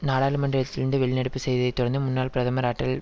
நாடாளுமன்றத்திலிருந்து வெளிநடப்பு செய்ததைத் தொடர்ந்து முன்னாள் பிரதமர் அட்டல்